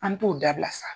An t'o dabila sa